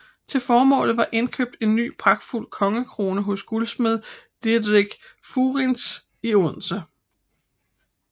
Til formålet var indkøbt en ny pragtfuld kongekrone hos guldsmed Didrik Fuirens i Odense